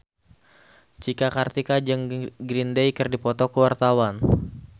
Cika Kartika jeung Green Day keur dipoto ku wartawan